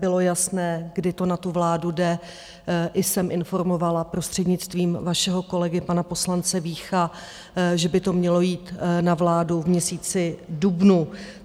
Bylo jasné, kdy to na tu vládu jde, i jsem informovala prostřednictvím vašeho kolegy, pana poslance Vícha, že by to mělo jít na vládu v měsíci dubnu.